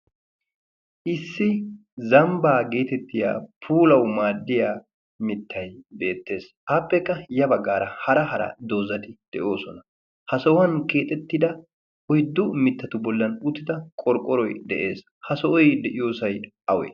issi zambbaa geetettiya puulau maaddiya mittai beettees. aappekka ya baggaara hara hara doozadi de7oosona ha sahuwan keexettida oiddu mittatu bollan uttida qorqqoroi de7ees ha so7oi de7iyoosai awe?